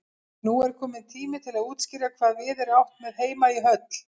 Nú er kominn tími til að útskýra hvað við er átt með heima í höll.